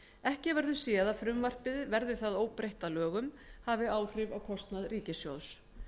ekki verður séð að frumvarpið verði það óbreytt að lögum hafi áhrif á kostnað ríkissjóðs